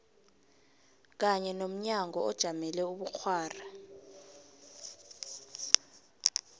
kanye nomnyango ojamele ubukghwari